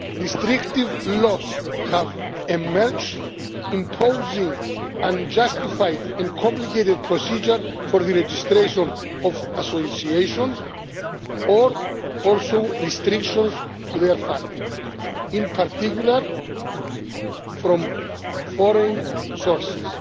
Restrictive laws have emerged, imposing unjustified and complicated procedures for the registration of associations, or restrictions on their funding, in particular from foreign sources.